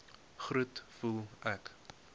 groet voel ek